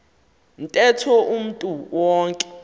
ntetho umntu wonke